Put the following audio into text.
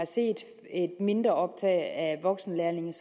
set et mindre optag af voksenlærlinge